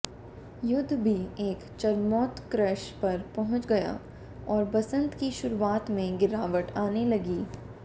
युद्ध भी एक चरमोत्कर्ष पर पहुंच गया और बसंत की शुरुआत में गिरावट आने लगी